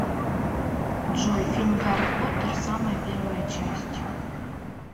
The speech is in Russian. джой фильм гарри потер самая первая часть